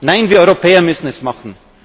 China? Nein, wir Europäer müssen es